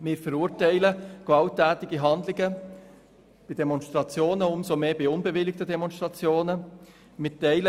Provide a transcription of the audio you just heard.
Wir verurteilen gewalttätige Handlungen bei Demonstrationen generell, nicht nur bei unbewilligten Demonstrationen, sondern auch bei bewilligten.